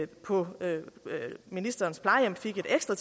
på ministerens plejehjem fik et ekstra